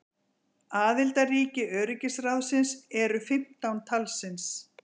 Aðildarríki öryggisráðsins eru fimmtán talsins.